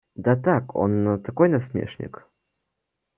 да так он такой насмешник